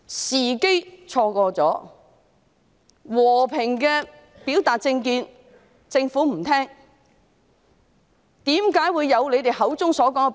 市民和平表達政見，但政府不聽，因而錯失時機。